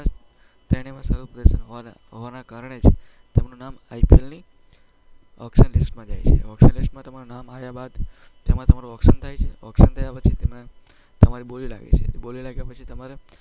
ત્રણેયમાં સારું પ્રદર્શન હોવાના કારણે જ તેમનું નામ IPL ની ઑક્શન લિસ્ટમાં જાય છે. લિસ્ટમાં તમારું નામ આવ્યા બાદ તેમાં તમારું ઑક્શન થાય છે. ઑક્શન થયા પછી તમારી બોલી લાગે છે. બોલી લાગ્યા પછી તમારે